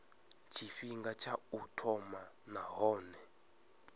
tshifhinga tsha u thoma nahone